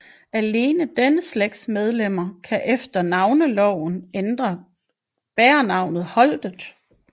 Alene denne slægts medlemmer kan efter Navneloven bære navnet Holtet